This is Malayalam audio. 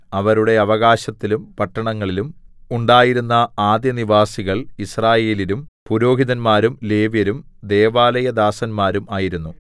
അവരുടെ അവകാശത്തിലും പട്ടണങ്ങളിലും ഉണ്ടായിരുന്ന ആദ്യനിവാസികൾ യിസ്രായേല്യരും പുരോഹിതന്മാരും ലേവ്യരും ദൈവാലയദാസന്മാരും ആയിരുന്നു